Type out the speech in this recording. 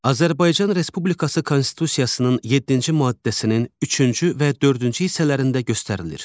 Azərbaycan Respublikası Konstitusiyasının yeddinci maddəsinin üçüncü və dördüncü hissələrində göstərilir.